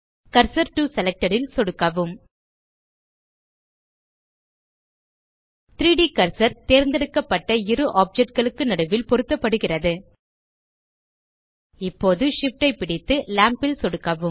cursor to selected ல் சொடுக்கவும் 3ட் கர்சர் தேர்ந்தெடுக்கப்பட்ட இரு ஆப்ஜெக்ட் களுக்கு நடுவில் பொருத்தப்படுகிறது இப்போது Shift ஐ பிடித்து லாம்ப் ல் சொடுக்கவும்